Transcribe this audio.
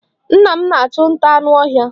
Nna m na-achụ nta anụ ọhịa.